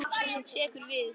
Sú sem tekur við.